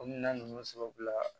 O minɛn nunnu sababu la